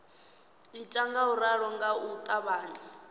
ita ngauralo nga u ṱavhanya